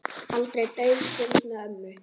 Aldrei dauf stund með ömmu.